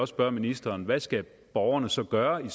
spørge ministeren hvad skal borgerne så gøre i